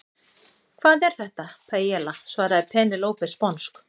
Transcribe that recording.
Hvað er þetta? Paiella, svaraði Penélope sponsk.